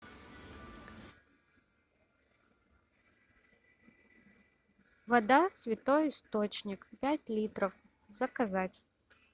вода святой источник пять литров заказать